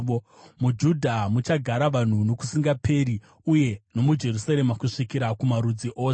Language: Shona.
MuJudha muchagara vanhu nokusingaperi, uye nomuJerusarema kusvikira kuzvizvarwa zvose.